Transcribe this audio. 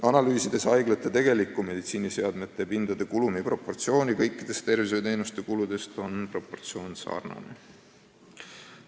Analüüsides haiglate tegelikku meditsiiniseadmete ja pindade kulumi proportsiooni võrreldes kõikide tervishoiuteenuste kuludega, on leitud, et proportsioon on sarnane.